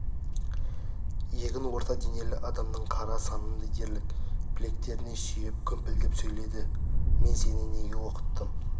иегін орта денелі адамның қара санындай дерлік білектеріне сүйеп гүмпілдеп сөйледі мен сені неге оқыттым